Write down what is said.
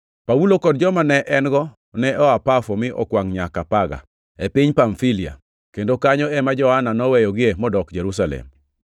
Paulo kod joma ne en-go ne oa Pafo mi okwangʼ nyaka Perga, e piny Pamfilia, kendo kanyo ema Johana noweyogie modok Jerusalem.